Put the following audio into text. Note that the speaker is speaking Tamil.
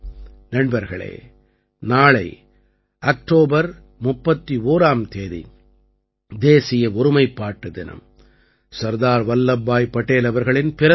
நண்பர்களே நாளை அக்டோபர் 31ஆம் தேதி தேசிய ஒருமைப்பாட்டு தினம் சர்தார் வல்லப்பாய் படேல் அவர்களின் பிறந்த நாள்